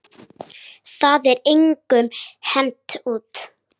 Það var engum hent út.